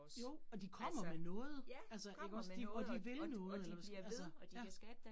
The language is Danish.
Jo, og de kommer med noget altså ikke også de og de vil noget eller hvad skal man altså ja